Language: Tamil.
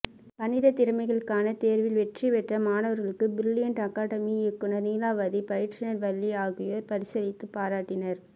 கணிதத் திறமைகளுக்கான தோ்வில் வெற்றி பெற்ற மாணவா்களுக்கு பிரிலியண்ட் அகாதெமி இயக்குநா் நீலாவதி பயிற்றுநா் வள்ளி ஆகியோா் பரிசளித்துப் பாராட்டினா்